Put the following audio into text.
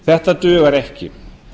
þetta dugar ekki